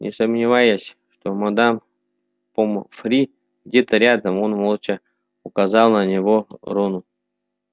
не сомневаясь что мадам помфри где-то рядом он молча указал на него рону